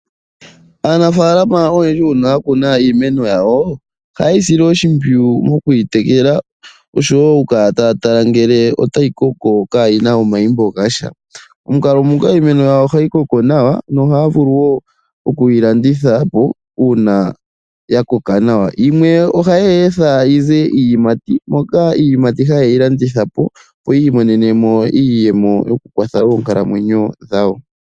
Aanafaalama oyendji uuna ya kuna iimeno yawo, ohaye yi sile oshimpwiyu nokuyi tekela oshowo okukala taya tala ngele otayi koko yaa na omayimbo gasha. Momukalo nguka iimeno yawo ohayi koko nawa nohaya vulu wo okuyi landitha po uuna ya koka nawa. Yimwe ohaye yi etha yi ze iiyemati, opo iiyimati ye yi landithe po, opo yi imonene mo iiyemo yokukwatha oonkalamwenyo dhawo.